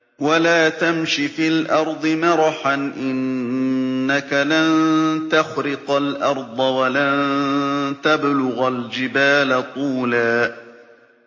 وَلَا تَمْشِ فِي الْأَرْضِ مَرَحًا ۖ إِنَّكَ لَن تَخْرِقَ الْأَرْضَ وَلَن تَبْلُغَ الْجِبَالَ طُولًا